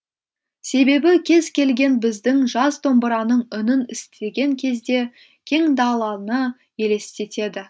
себебі кез келген біздің жас домбыраның үнін істіген кезде кең далалны елестетеді